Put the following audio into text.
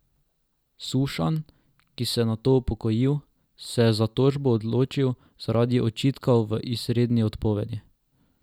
Sušanj, ki se je nato upokojil, se je za tožbo odločil zaradi očitkov v izredni odpovedi.